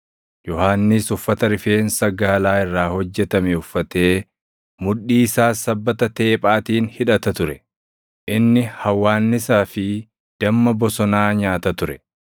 Yohannis uffata rifeensa gaalaa irraa hojjetame uffatee, mudhii isaas sabbata teephaatiin hidhata ture; inni hawwaannisaa fi damma bosonaa nyaata ture.